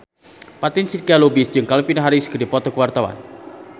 Fatin Shidqia Lubis jeung Calvin Harris keur dipoto ku wartawan